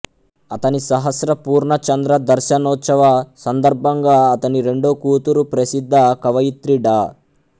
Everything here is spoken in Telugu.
అతని సహస్రపూర్ణచంద్రదర్శనోత్సవ సందర్భంగా అతని రెండో కూతురు ప్రసిద్ధ కవయిత్రి డా